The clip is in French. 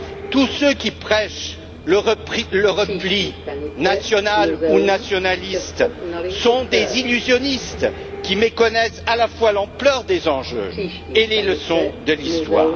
Tous ceux qui prêchent le repli national ou nationaliste sont des illusionnistes, qui méconnaissent à la fois l'ampleur des enjeux et les leçons de l'histoire.